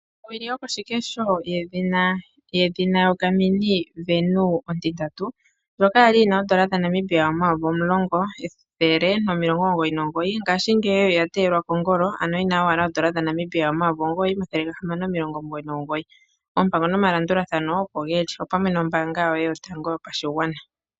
Owili yokoshikesho yedhina Gamin Venu ontitatu ndjoka yali yina oodola dhaNamibia omuyovi omulongo ethele nomilongo omugoyi nomugoyi ngashingeyi oyateyelwa kongolo ano yina owala oodola dhaNamibia omuyovi omugoyi omathele gahamano omilongo omugoyi nomugoyi. Oompango nomalandulathano opo geli, opamwe nOmbaanga yoye yotango yopashigwana.